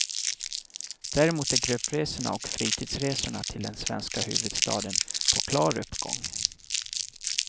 Däremot är gruppresorna och fritidsresorna till den svenska huvudstaden på klar uppgång.